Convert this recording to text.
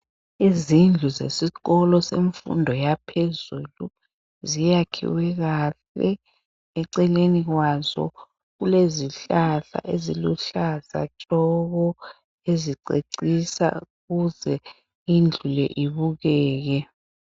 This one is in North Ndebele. Izindlu zesikolo semfundo yaphezulu ziyakhiwe kahle eceleni kwaso kulezihlahla eziluhlaza tshoko ezicecisa ukuza indlu le ibukeke.